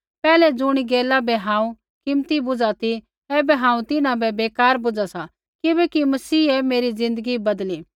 पैहलै ज़ुणी गैला बै हांऊँ कीमती बुझ़ा ती ऐबै हांऊँ तिन्हां बै बेकार बुझ़ा सा किबैकि मसीहै मेरी ज़िन्दगी बदली